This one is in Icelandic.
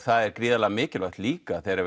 það er gríðarlega mikilvægt líka þegar